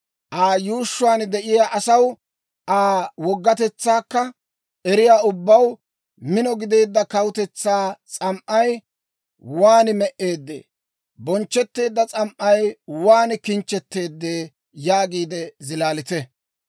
«Aa yuushshuwaan de'iyaa asaw, Aa woggatetsaakka eriyaa ubbaw, ‹Mino gideedda kawutetsaa s'am"ay waan me"eeddee! Bonchchetteedda s'am"ay waan kinchchetteedee!› yaagiide zilaalite.